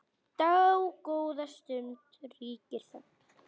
Dágóða stund ríkir þögn.